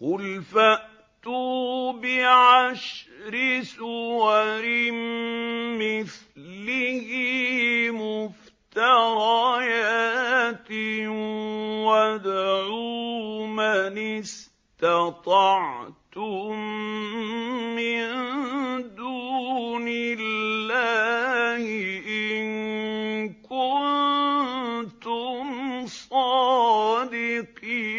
قُلْ فَأْتُوا بِعَشْرِ سُوَرٍ مِّثْلِهِ مُفْتَرَيَاتٍ وَادْعُوا مَنِ اسْتَطَعْتُم مِّن دُونِ اللَّهِ إِن كُنتُمْ صَادِقِينَ